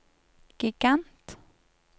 gigant